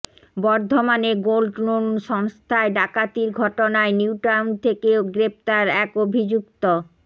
বর্ধমানে গোল্ডলোন সংস্থায় ডাকাতির ঘটনায় নিউটাউন থেকে গ্রেফতার এক অভিযুক্ত